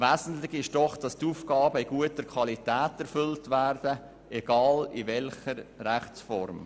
Wesentlich ist doch, dass die Aufgaben in guter Qualität erfüllt werden, egal in welcher Rechtsform.